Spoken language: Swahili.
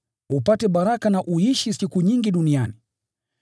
“upate baraka na uishi siku nyingi duniani.”